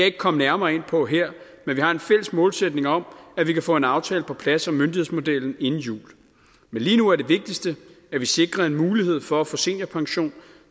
ikke komme nærmere ind på her men vi har en fælles målsætning om at vi kan få en aftale på plads om myndighedsmodellen inden jul men lige nu er det vigtigste at vi sikrer en mulighed for at få seniorpension